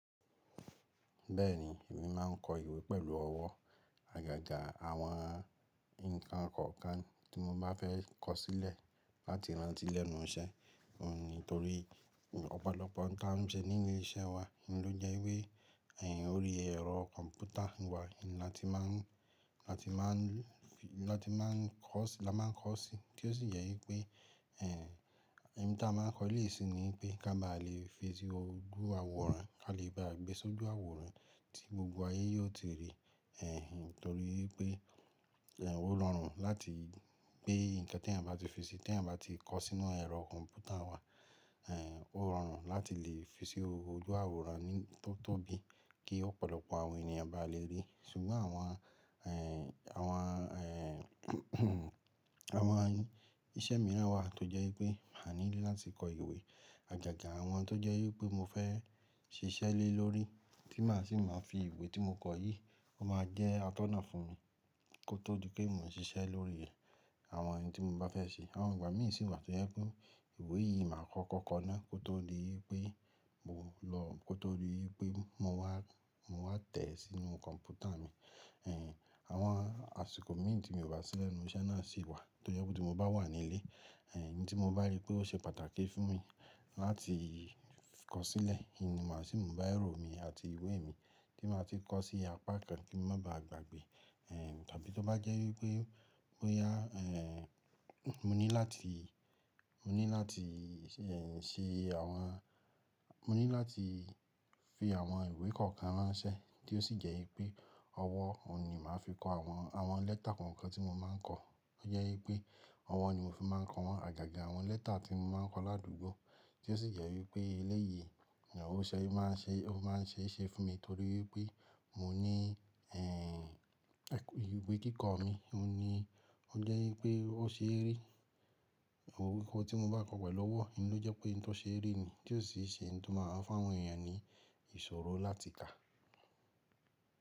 Bẹ́ẹ̀ni, èmi má a ń kọ ìwé pẹ̀lú ọwọ́, àgàgà àwọn ǹkan kọ̀ọ̀kan tí mo bá fẹ́ kọ sílẹ̀ láti rántí lẹ́nu iṣẹ́. Nítorí ọ̀pọ̀lọpọ̀ ǹkan tó ń ṣe ní ilé iṣẹ́ wa ló jẹ́ wípé orí ẹ̀rọ kọ̀m̀pútà wa la tí má ń, la tí má ń kọ sí, tí ó sì jẹ́ wípé ẹni tí a máa ń kọ léèsí ni pé ká ba lè fi sí ojú àwòrán, ká lè bá gbé e sójú àwòrán tí gbogbo ayé yóò ti rí, nítorí pé ó rọrùn láti pé ǹkan tí ẹ̀yin bá ti fi sí, tí ẹ̀yin bá ti kọ sínú ẹ̀rọ kọ̀m̀pútà wa, ó rọrùn láti lè fi sí ojú àwòrán tó tóbi kí ọ̀pọ̀lọpọ̀ àwọn ènìyàn bá lè rí. Ṣùgbọ́n àwọn, àwọn iṣẹ́ mìíràn wà tó jẹ́ wípé a ní láti kọ ìwé, àgàgà àwọn tó jẹ́ wípé mo fẹ́ ṣiṣẹ́ lé lórí tí màá sì máa fi ìwé tí mo kọ yìí, ó máa jẹ́ atọ́nà fún mi kó tó di pé mò ń ṣiṣẹ́ lórí àwọn ohun tí mo bá fẹ́ ṣe. Àwọn ìgbà mí ìsí wà tó jẹ́ pé ìwé yìí màá kọ kọ̀kan náà kó tó di wípé mo wá tẹ̀ ẹ́ sínú kọ̀m̀pútà mi. Àwọn àsìkò mí tí mo bá sílẹ̀ ní iṣẹ́ náà sì wà tó jẹ́ pé tí mo bá wà nílé, ohun tí mo bá rí pé ó ṣe pàtàkì fún mi láti kọ sílẹ̀, ìmi màá sì mú bá ẹ̀rọ mi àti ìwé mi tí màá ti kọ sí apá kan kí n má ba à gbàgbé. Tàbí tó bá jẹ́ wípé mo ní láti ṣe àwọn, mo ní láti fi àwọn ìwé kọ̀ọ̀kan ránṣẹ́ tí ó sì jẹ́ wípé ọwọ́ ni màá fi kọ àwọn lẹ́tà kọ̀ọ̀kan tí mo máa ń kọ. Ó jẹ́ wípé ọwọ́ ni mò fi máa ń kọ wọn, àgàgà àwọn lẹ́tà tí mo máa ń kọ ládùúgbò tí ó sì jẹ́ wípé eléyìí ó máa ń ṣe é ṣe fún mi nítorí wípé mo ní ìwé kíkọ mi, ó jẹ́ wípé ó ṣe rí ìwé tí mo bá kọ pẹ̀lú ọwọ́, ló jẹ́ pé ohun tó ṣe rí mi tí ó sì ṣe ohun tí màá máa ń fáwọn ènìyàn ní ìṣòro láti kà.